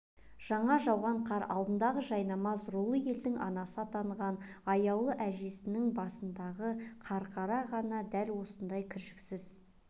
жаңа жауған қар алдындағы жайнамаз рулы елдің анасы атанған аяулы әженің басындағы қарқара ғана дәл осындай кіршіксіз